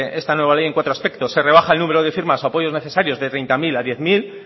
esta nueva ley en cuatro aspectos se rebaja el número de firmas o apoyos necesarios de treinta mil a diez mil